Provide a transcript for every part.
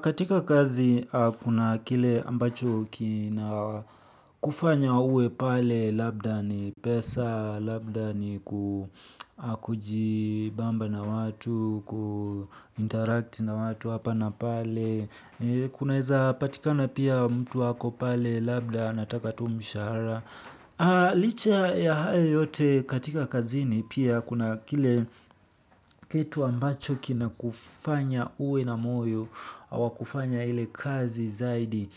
Katika kazi, kuna kile ambacho kinakufanya uwepale, labda ni pesa, labda ni kujibamba na watu, ku interact na watu hapa na pale. Kunaweza patikana pia mtu wako pale, labda anataka tu mshahara. Licha ya hayo yote katika kazini pia kuna kile, kitu ambacho kinakufanya uwe na moyo wa kufanya ile kazi zaidi,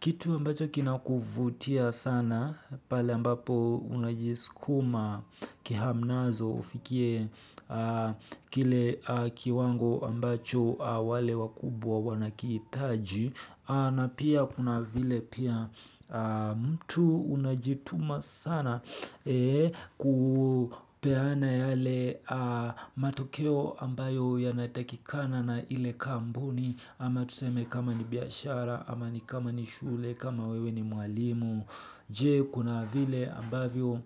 kitu ambacho kina kuvutia sana pale ambapo unajisukuma kihamnazo ufikie kile kiwango ambacho wale wakubwa wanakihitaji. Na pia kuna vile pia mtu unajituma sana kupeana yale matokeo ambayo yanatakikana na ile kampuni ama tuseme kama ni biashara, ama ni kama ni shule, kama wewe ni mwalimu. Je kuna vile ambavyo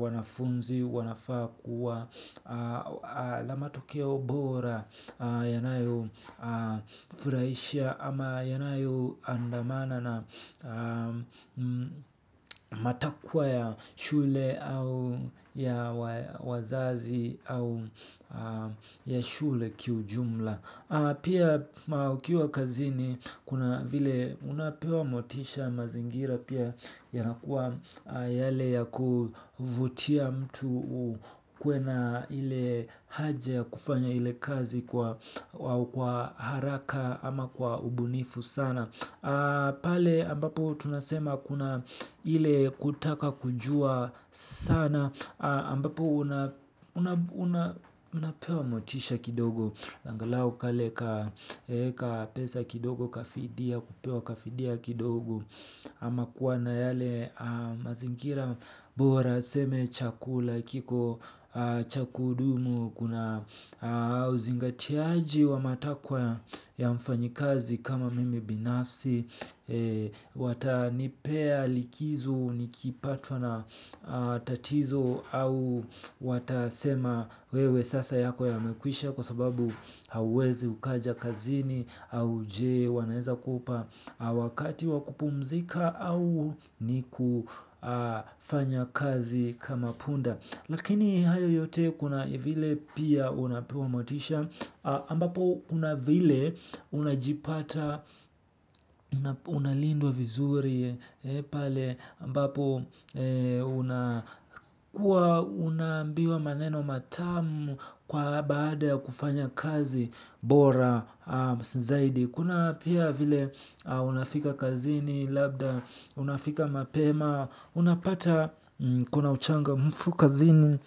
wanafunzi, wanafaa kuwa na matokeo bora yanayo furahisha ama yanayo andamana na, matakwa ya shule au ya wazazi au ya shule kiujumla. Pia ukiwa kazini kuna vile unapewa motisha, mazingira pia yanakuwa yale ya kuvutia mtu kuwe na ile haja ya kufanya ile kazi kwa haraka ama kwa ubunifu sana. Pale ambapo tunasema kuna ile kutaka kujua sana ambapo. Unapewa motisha kidogo angalau kale ka, ka pesa kidogo ka fidia, ama kuwa na yale mazingira bora tuseme chakula kiko cha kudumu na uzingatiaji wa matakwa ya mfanyakazi kama mimi binafsi. Watanipea likizo nikipatwa na, tatizo, au watasema wewe sasa yako yamekwisha kwa sababu hauwezi ukaja kazini au je wanaweza kupa, wakati wa kupumzika au ni kufanya kazi kama punda. Lakini hayo yote kuna vile pia unapewa motisha. Ambapo kunavile unajipata, unalindwa vizuri. Ambapo unakuwa unaambiwa maneno matamu kwa baada ya kufanya kazi bora zaidi. Kuna pia vile unafika kazini, labda unafika mapema unapata kuna uchangamfu kazini.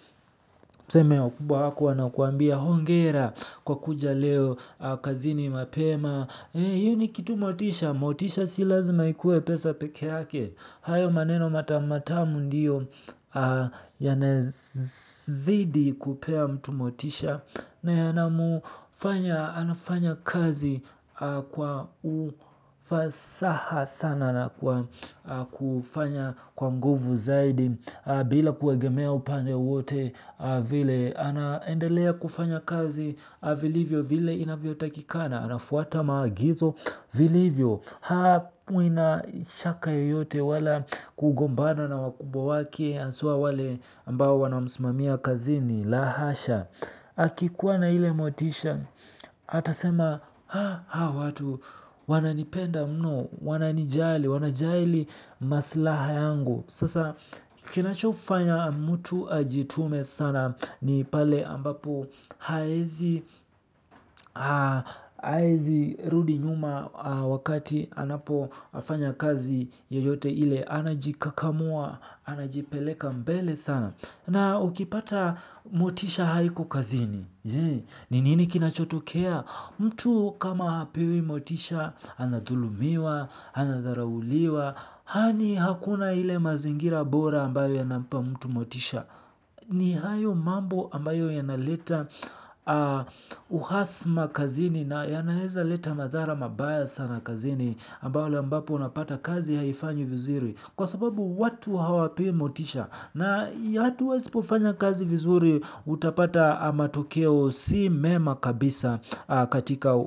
Mseme wakubwa wako wanakuambia hongera kwa kuja leo kazini mapema, hiyo ni kitu motisha, motisha si lazima ikue pesa peke yake hayo maneno matamu ndio, yanazidi kupea mtu motisha. Na yanamfanya anafanya kazi kwa ufasaha sana na kufanya kwa nguvu zaidi. Bila kuegemea upande wowote. Vile anaendelea kufanya kazi vilivyo vile inavyotakikana. Anafuata maagizo vilivyo. Hakui na shaka yeyote wala kugombana na wakubwa wake haswa wale ambao wanamsimamia kazini la hasha, akikua na ile motisha atasema hawa watu wananipenda mno, wananijali, wanajali masilahi yangu. Sasa kinachofanya mtu ajitume sana ni pale ambap hawezi, hawezi rudi nyuma wakati anapofanya kazi yeyote ile, anajikakamua anajipeleka mbele sana. Na ukipata motisha haiko kazini. Ni nini kinachotokea? Mtu kama hapewi motisha anadhulumiwa, anadharauliwa. Yaani hakuna le mazingira bora ambayo inampa mtu motisha, ni hayo mambo ambayo yanaleta uhasama kazini na yanaweza leta madhara mabaya sana kazini ambayo ambapo unapata kazi haifanyo vizuri. Kwa sababu watu hawapewi motisha na watu wasipofanya kazi vizuri utapata matokeo si mema kabisa katika,